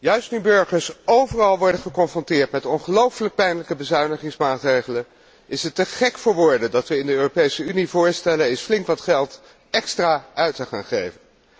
Juist nu burgers overal worden geconfronteerd met ongelofelijk pijnlijke bezuinigingsmaatregelen, is het te gek voor woorden dat we in de Europese Unie voorstellen eens flink wat geld extra uit te geven.